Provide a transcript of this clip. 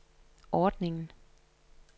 ordningen